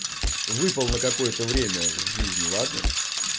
выпал на какое-то время с жизни ладно